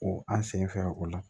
O an sen fɛ o la